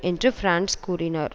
என்று பிரான்ஸ் கூறினார்